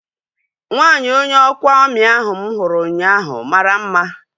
Nwaanyi onye ọkwa amị ahu mụ hụrụ ụnyaahụ mara mma